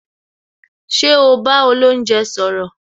Ṣé o bá olounje sọ̀rọ̀